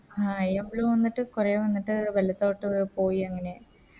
ആ അയ്യമ്പലോ വന്നിട്ട് കൊറേ വന്നിട്ട് വെള്ളത്തോട്ട് പോയി അങ്ങനെ